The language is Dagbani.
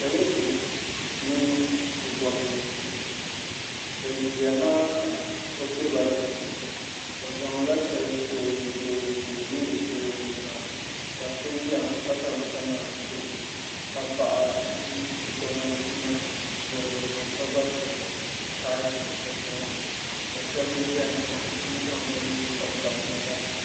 pɔlinsi mini bi gobnanti bi ʒiya maa ka o tiri bala pini o zaŋla shɛli ti o o nudirigu ni ka o deeri shɛli o nuzaa ka so ʒiya ha ka zaŋ kamɛra kpa o ka paɣa ʒi bi gobnanti maa luɣuli zuɣu ka gba pili kaapu o zuɣu ni ka shab ʒɛya ha n ku zaŋ bi nuhi gabi gabi bi nyaansi